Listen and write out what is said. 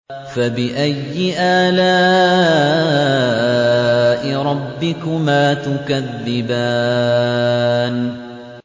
فَبِأَيِّ آلَاءِ رَبِّكُمَا تُكَذِّبَانِ